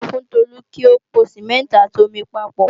A sọ fún Tolu kí ó po Sìmẹ́ǹtì àti omi papọ̀